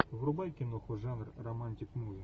врубай киноху жанр романтик муви